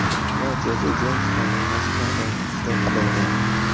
Va Joze Jeyms bilan to‘qnashib, maydonga qulaydi.